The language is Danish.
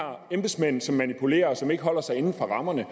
embedsmænd som manipulerer og som ikke holder sig inden for rammerne